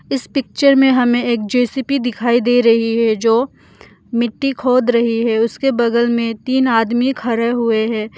इस पिक्चर में हमें एक जे_सी_बी दिखाई दे रही है जो मिट्टी खोद रही है उसके बगल में तीन आदमी खड़े हुए है।